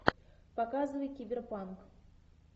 показывай киберпанк